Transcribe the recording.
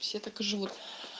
все так и живут